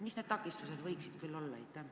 Mis need takistused võiksid küll olla?